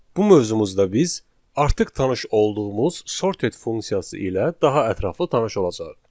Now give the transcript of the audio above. Bu mövzumuzda biz artıq tanış olduğumuz sorted funksiyası ilə daha ətraflı tanış olacağıq.